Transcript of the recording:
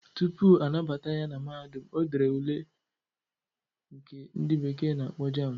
Tupu anabata ya na mahadum, o dere ule nke ndị bekee na-akpọ JAMB.